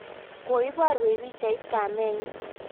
koiboruech pichaitab kamenyin